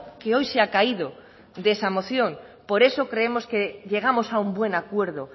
que hoy se ha caído de esa moción por eso creemos que llegamos a un buen acuerdo